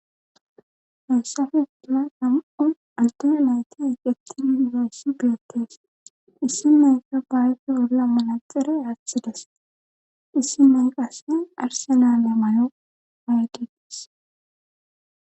Hayssafe uula nam7u altone layti iqeti yunberssi biyotees issi mayka bayfe olla malaxere athides issi mayqase arsenale may7o haygidis.